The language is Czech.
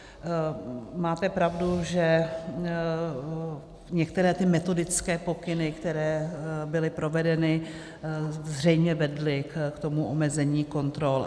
Máte pravdu, že některé ty metodické pokyny, které byly provedeny, zřejmě vedly k tomu omezení kontrol.